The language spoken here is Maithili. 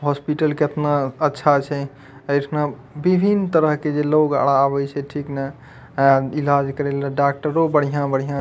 हॉस्पिटल कतना अच्छा छै ए ठमा विभिन्न तरह के जे लोग आर आवे छै ठीक ने अ इलाज करे ले डॉक्टरों बढ़िया-बढ़िया --